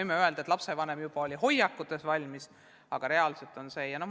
Võime öelda, et lapsevanemad on juba hoiakutes valmis, aga reaalselt üle minna on raske.